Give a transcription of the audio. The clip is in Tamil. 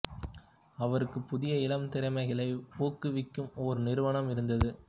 அவருக்கு புதிய இளம் திறமைகளை ஊக்குவிக்கும் ஒரு நிறுவனம் இருந்தது